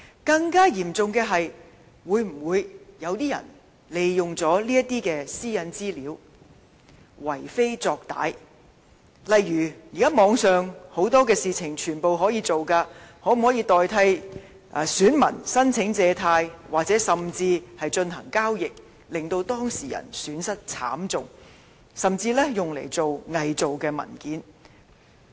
更嚴重的是，會否有人利用這些私隱資料為非作歹，例如現時很多事情也可以在網上進行，例如可否以外泄的資料冒認選民申請借貸，甚至進行交易，令當事人損失慘重，甚至用來偽造文件？